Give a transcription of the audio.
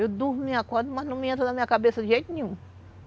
Eu durmo e acordo, mas não me entra na minha cabeça de jeito nenhum.